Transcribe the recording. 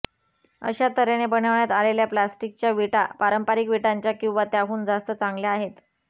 अशा तऱ्हेने बनवण्यात आलेल्या प्लास्टिकच्या विटा पारंपरिक विटांच्या किंवा त्याहून जास्त चांगल्या आहेत